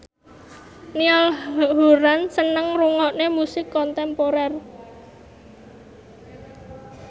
Niall Horran seneng ngrungokne musik kontemporer